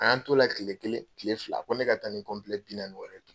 A y'an t'o la kile kelen, kile fila ko ne ka taa ni kelen kiliyanin wɛrɛ